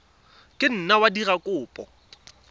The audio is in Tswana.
ka nna wa dira kopo